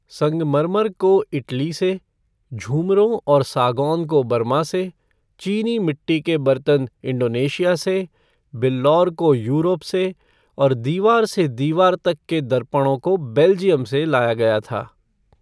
संगमरमर को इटली से, झूमरों और सागौन को बर्मा से, चीनी मिट्टी के बर्तन इंडोनेशिया से, बिल्लौर को यूरोप से और दीवार से दीवार तक के दर्पणों को बेल्जियम से लाया गया था।